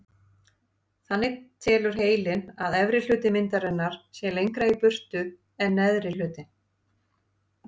Þannig telur heilinn að efri hluti myndarinnar sé lengra í burtu en neðri hlutinn.